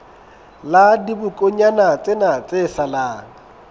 la dibokonyana tsena tse salang